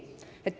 Ei!